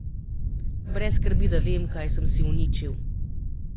Brez skrbi, da vem, kaj sem si uničil.